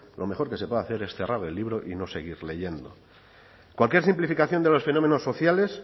lo mejor que se puede hacer es cerrar el libro y no seguir leyendo cualquier simplificación de los fenómenos sociales